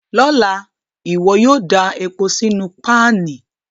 Lọla, iwọ yóò da epo sínu panì